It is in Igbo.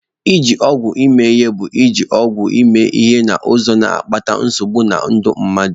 Iji ọgwụ eme ihe bụ iji ọgwụ eme ihe n'ụzọ na-akpata nsogbu na ndụ mmadụ.